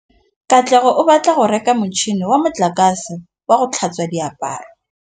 Katlego o batla go reka motšhine wa motlakase wa go tlhatswa diaparo.